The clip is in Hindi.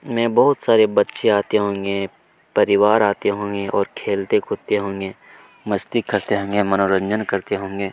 मे बहुत सारे बच्चे आते होंगे परिवार आते होंगे खेलते कुत्ते होंगे मस्ती करते होंगे मनोरंजन करते होंगे।